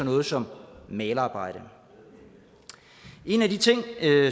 noget som malerarbejde en af de ting